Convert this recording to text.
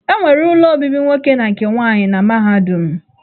E nwere ụlọ obibi nwoke na nke nwaanyị na mahadum.